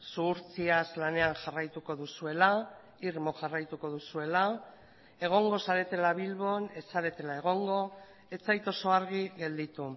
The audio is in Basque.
zuhurtziaz lanean jarraituko duzuela irmo jarraituko duzuela egongo zaretela bilbon ez zaretela egongo ez zait oso argi gelditu